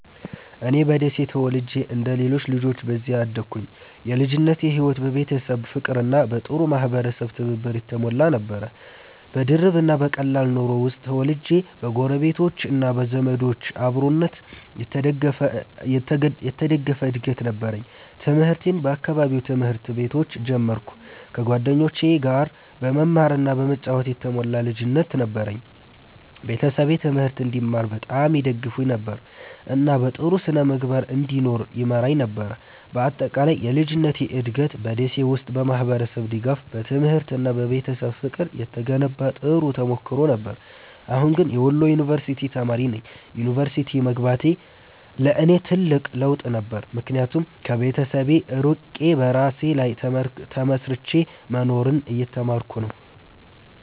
እኔ በደሴ ተወልጄ እንደ ሌሎች ልጆች በዚያ አደግኩ። የልጅነቴ ሕይወት በቤተሰብ ፍቅርና በጥሩ የማህበረሰብ ትብብር የተሞላ ነበር። በድርብ እና በቀላል ኑሮ ውስጥ ተወልጄ በጎረቤቶች እና በዘመዶች አብሮነት የተደገፈ እድገት ነበረኝ። ትምህርቴን በአካባቢው ትምህርት ቤቶች ጀመርኩ፣ ከጓደኞቼ ጋር በመማር እና በመጫወት የተሞላ ልጅነት ነበረኝ። ቤተሰቤ ትምህርት እንድማር በጣም ይደግፉኝ ነበር፣ እና በጥሩ ስነ-ምግባር እንድኖር ይመራኝ ነበር። በአጠቃላይ የልጅነቴ እድገት በ ደሴ ውስጥ በማህበረሰብ ድጋፍ፣ በትምህርት እና በቤተሰብ ፍቅር የተገነባ ጥሩ ተሞክሮ ነበር። አሁን ግን የወሎ ዩንቨርስቲ ተማሪ ነኝ። ዩኒቨርሲቲ መግባቴ ለእኔ ትልቅ ለውጥ ነበር፣ ምክንያቱም ከቤተሰብ ርቄ በራሴ ላይ ተመስርቼ መኖርን እየተማርኩ ነው።